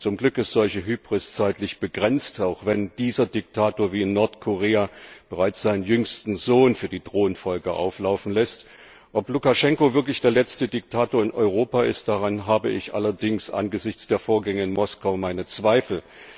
Zum Glück ist solche Hybris zeitlich begrenzt, auch wenn dieser Diktator wie der in Nordkorea bereits seinen jüngsten Sohn für die Thronfolge auflaufen lässt. Ob Lukaschenko wirklich der letzte Diktator in Europa ist, daran habe ich allerdings angesichts der Vorgänge in Moskau meine Zweifel.